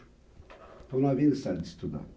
Então não havia necessidade de estudar.